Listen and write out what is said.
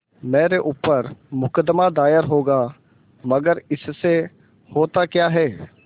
मेरे ऊपर मुकदमा दायर होगा मगर इससे होता क्या है